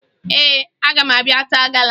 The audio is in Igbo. Ee, aga m abịa taa gala